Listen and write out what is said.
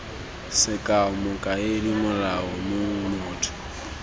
sekao mokaedi molaodi mong motho